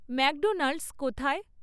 McDonald's কোথায়?